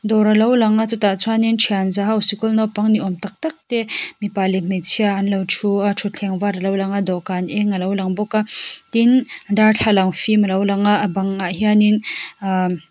dawr a lo lang a chutah chuan in thianza ho sikul naupang ni awm tak tak te mipa leh hmeichhia an lo thu a thutthleng var a lo lang a dawhkan eng a lo lang bawk a tin darthlalang fim a lo lang a a bangah hian in umm--